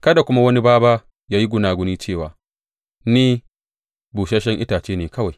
Kada kuma wani bābā ya yi gunaguni cewa, Ni busasshen itace ne kawai.